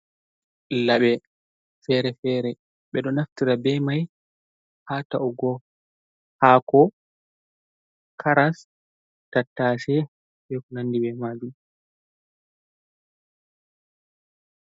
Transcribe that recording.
Laɓe fere-fere ɓe ɗo naftira be mai ha ta’ugo hako, karas, tattashe, e konandi be majum.